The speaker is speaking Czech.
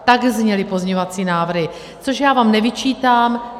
Tak zněly pozměňovací návrhy, což já vám nevyčítám.